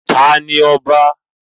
Ta ni ọba?